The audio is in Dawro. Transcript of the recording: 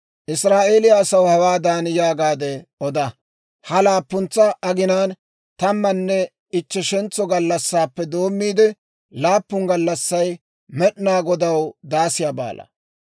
«Israa'eeliyaa asaw hawaadan yaagaade oda; ‹Ha laappuntsa aginaan tammanne ichcheshentso gallassaappe doommiide, laappun gallassay Med'inaa Godaw Daasiyaa Baala.